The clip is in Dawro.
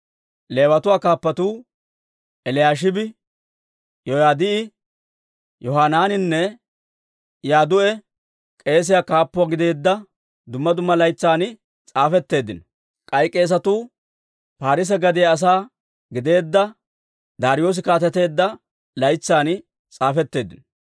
Leewatuu kaappatuu Eliyaashibi, Yoyaadaa'i, Yohanaaninne Yadduu'i k'eese kaappuwaa gideedda dumma dumma laytsan s'aafetteeddino. K'ay k'eesatuu Parsse gadiyaa asaa gideedda Daariyoosi kaateteedda laytsan s'aafetteeddino.